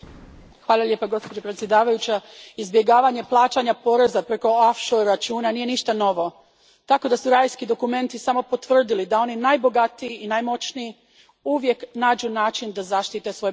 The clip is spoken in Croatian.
Gospođo predsjednice, izbjegavanje plaćanja poreza preko računa nije ništa novo, tako da su Rajski dokumenti samo potvrdili da oni najbogatiji i najmoćniji uvijek nađu način da zaštitite svoje bogatstvo.